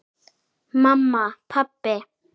Mamma. pabbi.